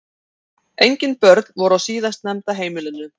Engin börn voru á síðastnefnda heimilinu